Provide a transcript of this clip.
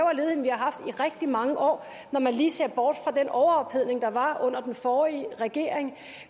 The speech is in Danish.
haft i rigtig mange år når man lige ser bort fra den overophedning der var under den forrige regering